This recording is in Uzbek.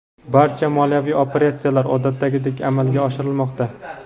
barcha moliyaviy operatsiyalar odatdagidek amalga oshirilmoqda.